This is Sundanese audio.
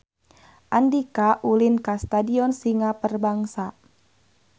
Andika ulin ka Stadion Singa Perbangsa